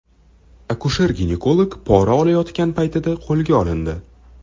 Akusher-ginekolog pora olayotgan paytida qo‘lga olindi.